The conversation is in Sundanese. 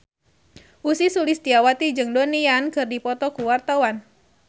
Ussy Sulistyawati jeung Donnie Yan keur dipoto ku wartawan